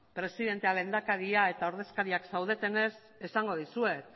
presidentea lehendakaria eta ordezkariak zaudetenez esango dizuet